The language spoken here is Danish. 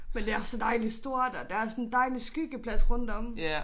Men det er så dejlig stort og der er sådan dejlig skyggeplads rundt om